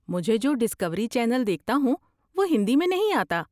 مجھے جو discovery channel دیکھتا ہوں وہ ہندی میں نہیں آتا۔